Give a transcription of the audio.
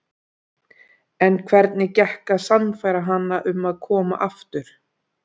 En hvernig gekk að sannfæra hana um að koma aftur?